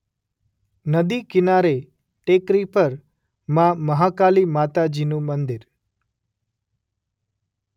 નદી કીનારે ટેકરી પર માં મહાકાલી માતાજીનું મંદિર